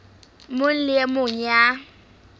mong le e mong ya